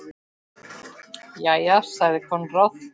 Jæja, sagði Konráð.